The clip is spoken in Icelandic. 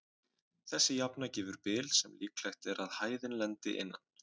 Þessi jafna gefur bil sem líklegt er að hæðin lendi innan.